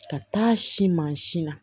Ka taa si mansin na